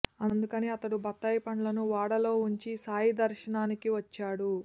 అందుకని అతడు బత్తాయి పండ్లను వాడాలో వుంచి సాయి దర్శనానికి వచ్చాడు